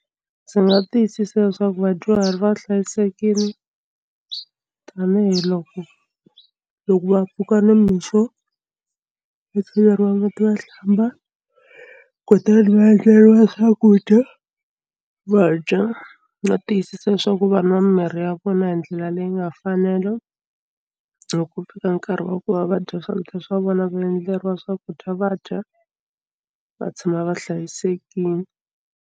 Ndzi nga tiyisisa leswaku vadyuhari va hlayisekile tanihiloko loko va pfuka nimixo va cheleriwa mati va hlamba kutani va endleriwa swakudya va dya va tiyisisa swa ku va nwa mimirhi ya vona hi ndlela leyi nga mfanelo loko ku fika nkarhi wa ku va va dya swakudya swa vona va endleriwa swakudya va dya va tshama va hlayisekile.